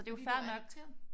Fordi du er adopteret?